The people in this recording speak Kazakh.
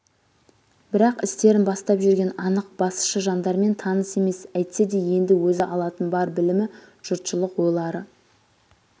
бірақ істерін бастап жүрген анық басшы жандармен таныс емес әйтсе де енді өзі алатын бар білімі жұртшылық ойлары